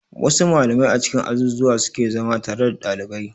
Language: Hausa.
Wa su malamai a cikin azuzzuwa suke zama tare da dalibai